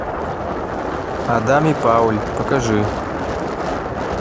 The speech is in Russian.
адам и пауль покажи